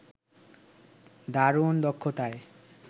দারুণ দক্ষতায়